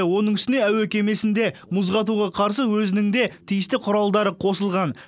оның үстіне әуе кемесінде мұз қатуға қарсы өзінің де тиісті құралдары қосылған